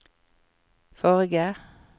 forrige